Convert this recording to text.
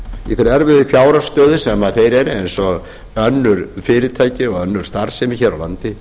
í þeirri erfiðu fjárhagsstöðu sem þeir eru eins og önnur fyrirtæki og önnur starfsemi hér á landi